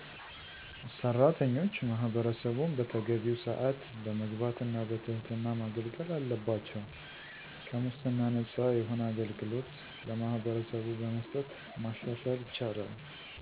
ሥራተኞች ማህበረሠቡን በተገቢው ሰአት በመግባት እና በትህትና ማገልገል አለባቸው። ከሙስና ነፃ የሆነ አገልግሎት ለማህበረሰቡ በመስጠት ማሻሻል ይቻላል።